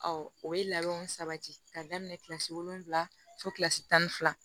Ɔ o ye labɛnw sabati ka daminɛ kilasi wolonwula fo kilasi tan ni fila